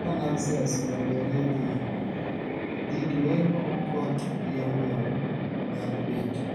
ka nav sels odonjoree dhil, lit, weng'o kot yomyom nyalo bet